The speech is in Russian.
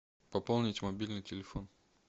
пополнить мобильный телефон